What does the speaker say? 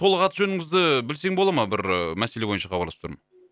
толық аты жөніңізді і білсем бола ма бір ііі мәселе бойынша хабарласып тұрмын